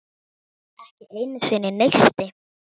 Ekki einu sinni neisti.